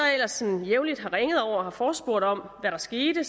ellers jævnligt har ringet over og forespurgt om hvad der skete